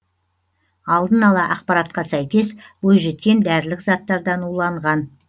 алдын ала ақпаратқа сәйкес бойжеткен дәрілік заттардан уланған